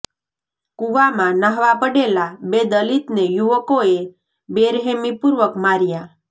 કુવામાં ન્હાવા પડેલા બે દલિતને યુવકોએ બેરહેમી પૂર્વક માર્યા